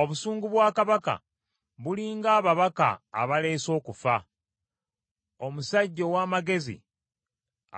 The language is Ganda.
Obusungu bwa kabaka buli ng’ababaka abaleese okufa, omusajja ow’amagezi